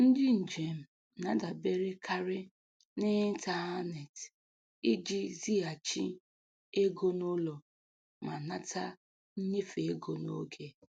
Ndị njem na-adaberekarị n'ịntaneetị iji zighachi ego n'ụlọ ma nata nnyefe ego n'oge.